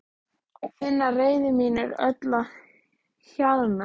Finn að reiði mín er öll að hjaðna.